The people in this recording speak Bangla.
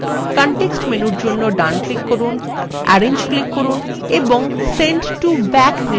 context menu জন্য ডান click করুন arrange click করুন এবং send to back নির্বাচন করুন